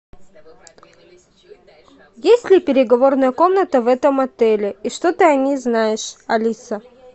есть ли переговорная комната в этом отеле и что ты о ней знаешь алиса